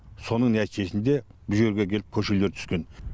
соның нәтижесінде бұл жерге келіп көшелер түскен